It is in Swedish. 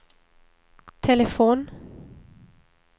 telefon